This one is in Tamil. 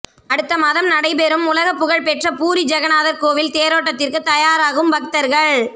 அடுத்த மாதம் நடைபெறும் உலகப் புகழ் பெற்ற பூரி ஜெகநாதர் கோவில் தேரோட்டத்திற்கு தயராகும் பக்தர்கள்